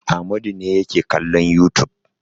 Amadu ne yake kallon youtube.